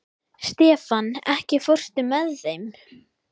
Stefan, ekki fórstu með þeim?